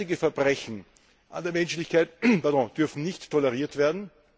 Derartige Verbrechen an der Menschlichkeit dürfen nicht toleriert werden.